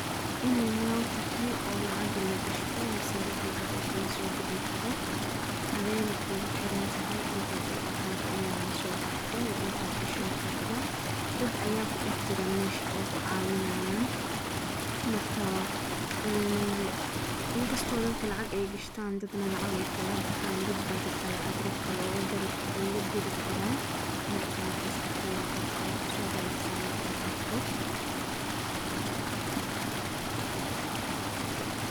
inay meel tahay oo lacag lagashto mise ruux mise ruux uu lacag kalasobixi karo aday nah kugu xirantahay intaat ubahan tahay inaan lasoo baxdo iyo intaa gashan rabto dad ayaa kujira mesha oo ku cawinayaan marka in kasto ay dadka lacag gashtaan ama ay lacag kala baxaan dad baa jira lacag rux kale oogu diri karaan marka maskax deyda taas ayaa kusodheceyaa markaan arko